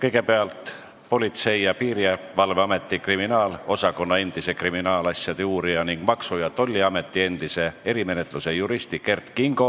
Kõigepealt on Politsei- ja Piirivalveameti kriminaalosakonna endise kriminaalasjade uurija ning Maksu- ja Tolliameti endise erimenetluse juristi Kert Kingo